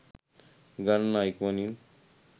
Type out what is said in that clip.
හිඟන්නා ඉක්මනින්